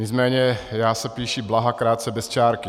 Nicméně já se píši Blaha krátce bez čárky.